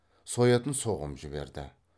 соятын соғым жіберді